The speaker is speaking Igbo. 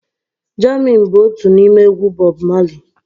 Jammin bụ otu n'ime egwu Bọb Mali